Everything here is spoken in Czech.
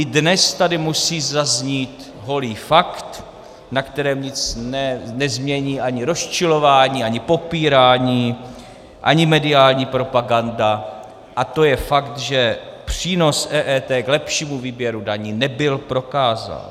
I dnes tady musí zaznít holý fakt, na kterém nic nezmění ani rozčilování, ani popírání, ani mediální propaganda, a to je fakt, že přínos EET k lepšímu výběru daní nebyl prokázán.